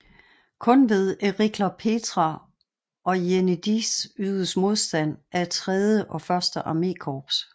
Kun ved Erikler Petra og Jenidze ydedes modstand af III og I armékorps